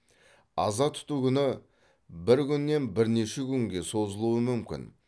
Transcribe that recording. аза тұту күні бір күннен бірнеше күнге созылуы мүмкін